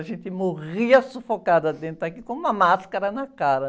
A gente morria sufocada dentro daqui, com uma máscara na cara.